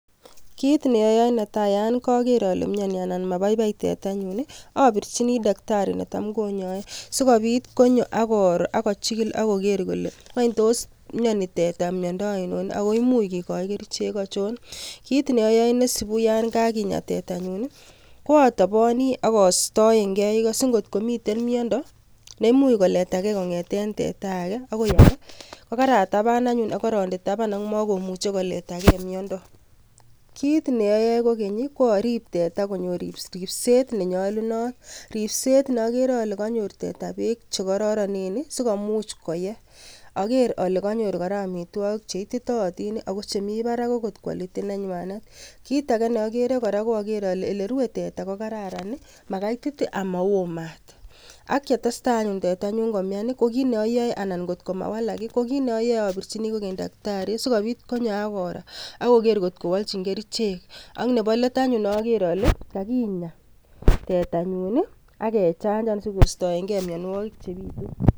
Kit neoyoe netai yon koker ale mioni anan mabaibai tetanyun I,abirchini taktari netam konyoe sikobiit konyoo ak koroo ak kochigil ak kogeer kole wany tos mioni teta miondo ainon ako much kikochi kerichek achon, kit neoyoe neisibu yon kakinyaa tetanyun ko atoboni akoistooen ikoo singot komiten miondo neimuch koletage kongeten teta age bokoi age, kokarataban anyun ak koronde taban. Kit neoyoe kokeny I kooriib teta konyor ribset nenyolunot, ribset neokere ale konyor teta beek chekororonen sikomuch koyee. Ageere kora ale konyor amitwogiik Che itittotin ak chetinye kimnotetab barak, kitage neogere kora KO okeer ale erue teta kokararan makaitit I ama woo maat. Ak yetestai anyun tetanyun komian kot kit neoyoe ko abirchin takitari nekinyoe sikobiit konyo ak koroo ak kogeer kor kowolchin kerichek. Ak Nebo let anyun ageer ale kakinyaa tetanyun ak kechamchan sikoistoenge mionwogik.